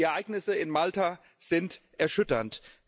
Die Ereignisse in Malta sind erschütternd.